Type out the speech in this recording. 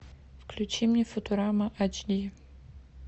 включи мне футурама эйч ди